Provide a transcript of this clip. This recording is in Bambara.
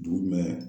Dugu jumɛn